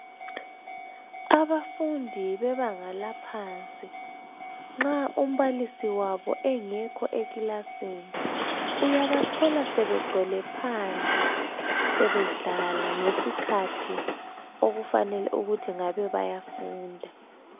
Abafundi bebanga laphansi nxa umbalisi wabo engekho ekilasini uyaba thola sebegcwele phandle sebedlala ngesikhathi okumele ukuthi ngabe bayafunda.